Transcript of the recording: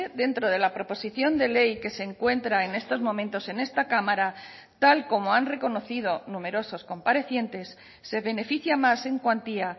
dentro de la proposición de ley que se encuentra en estos momentos en esta cámara tal como han reconocido numerosos comparecientes se beneficia más en cuantía